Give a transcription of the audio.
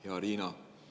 Hea Riina!